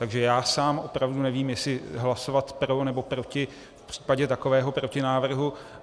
Takže já sám opravdu nevím, jestli hlasovat pro, nebo proti v případě takového protinávrhu.